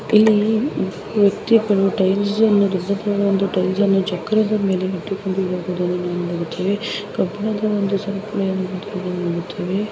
ಇಲ್ಲಿ ವ್ಯಕ್ತಿಗಳು ಚಕ್ರದಮೇಲೆ ಇಟ್ಟುಕೊಂಡು ಹೋಗುವುದನ್ನು